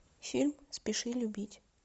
фильм спеши любить